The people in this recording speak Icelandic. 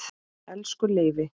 Elsku Leifi.